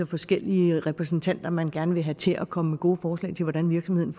forskellige repræsentanter man gerne vil have til at komme med gode forslag til hvordan virksomheden